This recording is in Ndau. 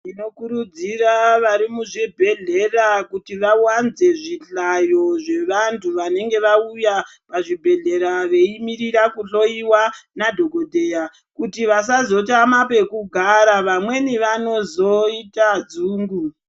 Tinokurudzira vari muzvibhedhlera kuti vavanze zvihlayo zvevantu vanenge vauya pazvibhedhlera veimirira kuhloiwa nadhogodheya. Kuti vasazotama pekugara vamweni vanozoita dzungu.